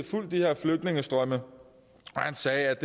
fulgt de her flygtningestrømme og han sagde at